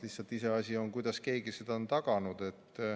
Lihtsalt iseasi on see, kuidas keegi seda on taganud.